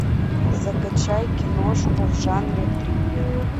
закачай киношку в жанре триллер